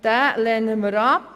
Diesen lehnen wir ab.